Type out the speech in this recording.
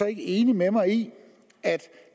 ikke enig med mig i at